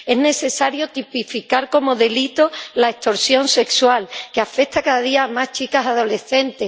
Es necesario tipificar como delito la extorsión sexual, que afecta cada día a más chicas adolescentes.